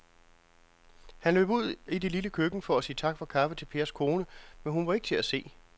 Han løb ud i det lille køkken for at sige tak for kaffe til Pers kone, men hun var ikke til at se.